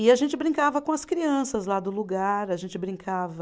E a gente brincava com as crianças lá do lugar, a gente brincava...